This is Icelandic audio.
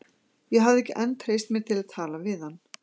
Ég hafði ekki enn treyst mér til að tala við hann.